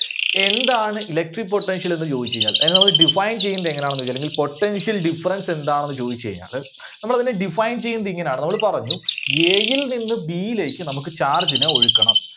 എന്താണ് Electric Potential എന്ന് ചോദിച്ചു കഴിഞ്ഞാൽ അതായത് നമ്മള് define ചെയ്യുന്നത് എങ്ങനാണെന്ന് ചോദിച്ചാൽ അല്ലെങ്കിൽ potential difference എന്താണെന്ന് ചോദിച്ചു കഴിഞ്ഞാല് നമ്മള് അതിനെ define ചെയ്യുന്നത് ഇങ്ങനെയാണ്. നമ്മള് പറഞ്ഞു A ൽ നിന്ന് B യിലേക്ക് നമുക്ക് charge നെ ഒഴുക്കണം.